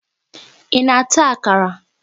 Ị na-ata akara?